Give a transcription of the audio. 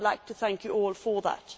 I would like to thank you all for that.